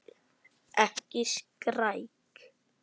Ekki skræk.